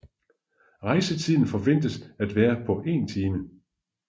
Rejsetiden forventes at være på en time